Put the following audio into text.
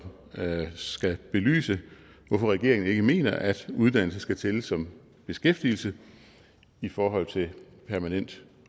skal belyse hvorfor regeringen ikke mener at uddannelse skal tælle som beskæftigelse i forhold til permanent